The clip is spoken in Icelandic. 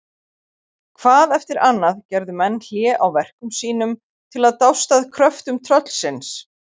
Hvað eftir annað gerðu menn hlé á verkum sínum til að dást að kröftum tröllsins.